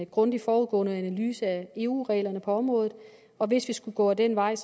grundig forudgående analyse af eu reglerne på området og hvis vi skulle gå den vej